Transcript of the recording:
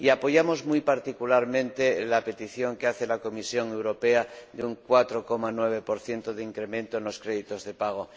Y apoyamos muy particularmente la petición que hace la Comisión Europea de un 4,9 de incremento en los créditos de pago.